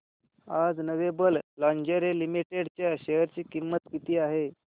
आज lovable lingerie limited च्या share ची किंमत किती आहे